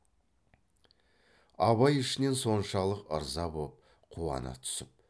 абай ішінен соншалық ырза боп қуана түсіп